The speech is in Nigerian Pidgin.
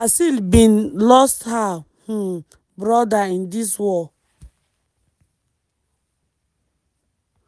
aseel bin lost her um brother in dis war.